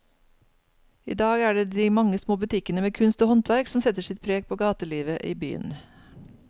I dag er det de mange små butikkene med kunst og håndverk som setter sitt preg på gatelivet i byen.